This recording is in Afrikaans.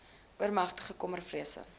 oormatige kommer vrese